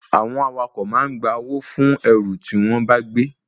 Àwọn awakọ̀ ma ń gba owó fún ẹrù tí wọ́n bá gbé